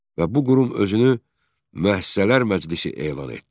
Və bu qurum özünü müəssisələr məclisi elan etdi.